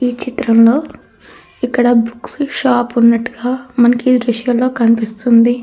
ఈ చిత్రం లో మనకి ఇక్కడ బుక్స్ షాప్ వున్నటుగా మనకి దృశ్యంలో కనిపిస్తునది.